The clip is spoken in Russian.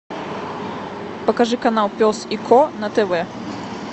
покажи канал пес и ко на тв